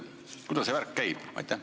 Kuidas see värk käib?